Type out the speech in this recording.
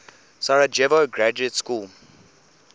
sarajevo graduate school